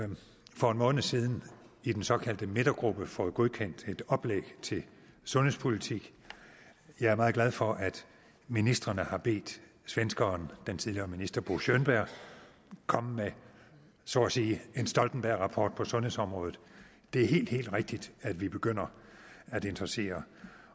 for en måned siden i den såkaldte midtergruppe fået godkendt et oplæg til sundhedspolitik jeg er meget glad for at ministrene har bedt svenskeren den tidligere minister bo könberg komme med så at sige en stoltenbergrapport på sundhedsområdet det er helt helt rigtigt at vi begynder at interessere